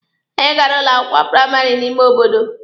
Anyị gara ụlọ akwụkwọ praịmarị n'ime obodo.